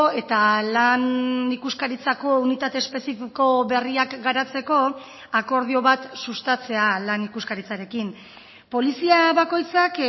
eta lan ikuskaritzako unitate espezifiko berriak garatzeko akordio bat sustatzea lan ikuskaritzarekin polizia bakoitzak